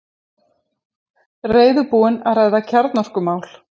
Reiðubúinn að ræða kjarnorkumál